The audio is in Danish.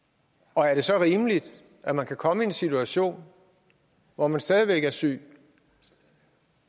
og er det så rimeligt at man kan komme i en situation hvor man stadig væk er syg